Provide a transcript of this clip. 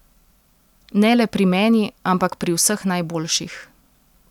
Ne le pri meni, ampak pri vseh najboljših.